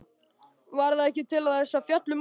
Var það ekki til þess að fjalla um þessi mál?